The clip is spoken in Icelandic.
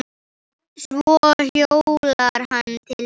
Svo hjólar hann til þeirra.